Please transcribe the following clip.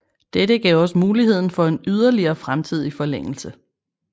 Dette gav også muligheden for en yderligere fremtidig forlængelse